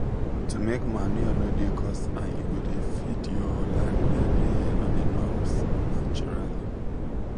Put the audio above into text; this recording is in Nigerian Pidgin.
to make manure no dey cost and e go dey feed your land every year on a norms naturally.